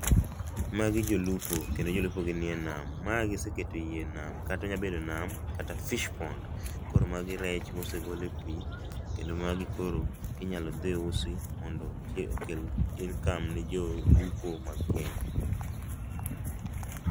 Magi jolupo kendo jolupo gi nie nam. Ma giseketo yie e nam kata onya bedo nam kata fish pond. Koro magi rech mosegol e pii kendo magi koro inyalo dhi usi mondo okel income[sc] ne jolupo ma Kenya